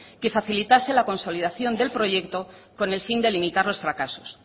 que facilitase la consolidación del proyecto con el fin de limitar los fracaso